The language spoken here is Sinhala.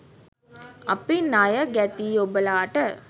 අපි ණය ගැතියි ඔබලාට.